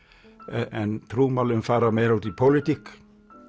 en trúmálin fara meira út í pólitík